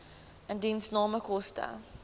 indiensname koste